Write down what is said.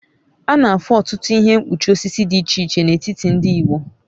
A na-afụ ọtụtụ ihe mkpuchi osisi dị iche iche n'etiti ndị Igbo